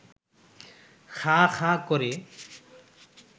খাঁ খাঁ করে